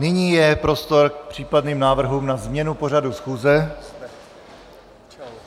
Nyní je prostor k případným návrhům na změnu pořadu schůze.